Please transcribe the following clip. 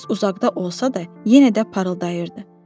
Dəniz uzaqda olsa da, yenə də parıldayırdı.